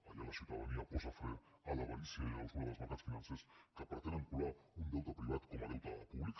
allà la ciutadania posa fre a l’avarícia i a la usura dels mercats financers que pretenen colar un deute privat com a deute públic